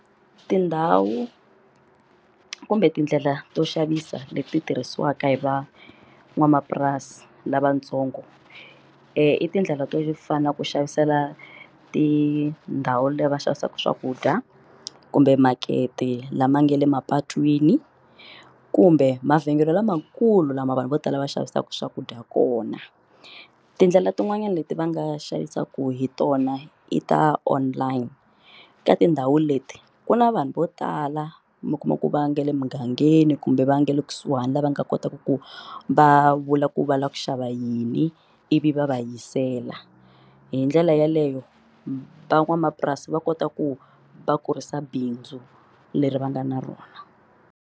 Tindhawu kumbe tindlela to xavisa leti tirhisiwaka hi van'wamapurasi lavatsongo i tindlela to fana na ku xavisela tindhawu leti va xavisaka swakudya kumbe makete lama nga le mapatwini kumbe mavhengele lamakulu lama vanhu vo tala va xavisaku swakudya kona tindlela tin'wanyani leti va nga xavisaka hi tona i ta online ka tindhawu leti ku na vanhu vo tala mi kuma ku va nga le mugangeni kumbe va nga le kusuhani lava nga kotaka ku va vula ku va lava ku xava yini ivi va va yisela hindlela yaleyo van'wamapurasi va kota ku va kurisa bindzu leri va nga na rona.